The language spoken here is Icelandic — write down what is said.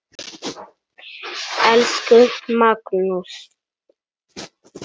Elsku Magnús.